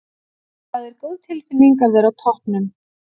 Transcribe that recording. Það er góð tilfinning að vera á toppnum.